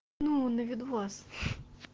ну на видос